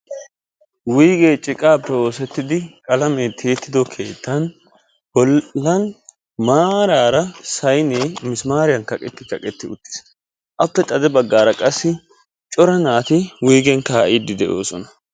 Wuygge ciqaappe oosettidi qalamee tiyettido keettan bollan maarara saynee misimaariyan kaqetti kaqqetidi uttiis. Appe xade baggaara qassi cora naati wuygen kaa'idde de'oosona.